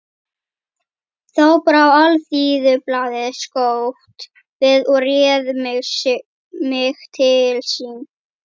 Þá brá Alþýðublaðið skjótt við og réð mig til sín.